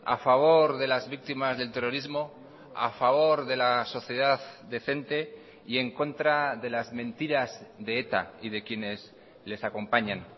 a favor de las víctimas del terrorismo a favor de la sociedad decente y en contra de las mentiras de eta y de quienes les acompañan